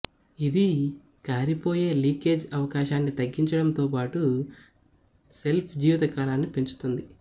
ఇది కారిపోయే లీకేజ్ అవకాశాన్ని తగ్గించడంతోపాటు షెల్ఫ్ జీవితకాలాన్ని పెంచుతుంది